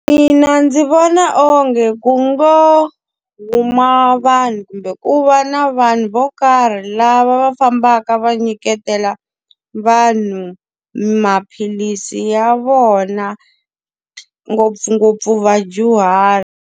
Mina ndzi vona onge ku ngo huma vanhu kumbe ku va na vanhu vo karhi lava va fambaka va nyiketela vanhu maphilisi ya vona, ngopfungopfu vadyuhari.